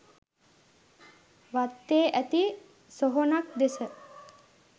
වත්තේ ඇති සොහොනක් දෙස